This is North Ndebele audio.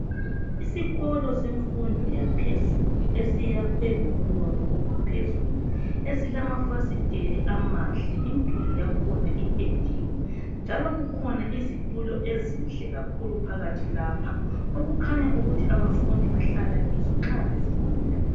Isikolo semfundo yaphezulu esiyakhwe ngobunono obuphezulu esilama fasiteli amahle imduli yakhona iphendiwe njalo kukhona izitulo ezinhle kakhulu phakathi lapha, okukhaya ukuthi abafundi bahlala kizo nxa befunda.